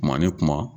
Kuma ni kuma